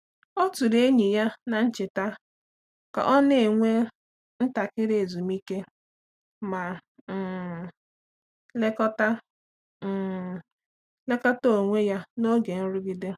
Ọ tụrụ enyi ya n’cheta ka ọ na-ewe ntakịrị ezumike ma um lekọta um lekọta onwe ya n’oge nrụgide.